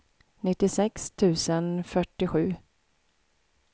nittiosex tusen fyrtiosju